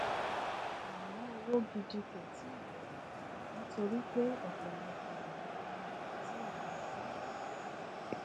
àmọ òwò gidi kò tíì bẹrẹ nítorí pé ọpọlọpọ ọràn ni a kò tíì yanjú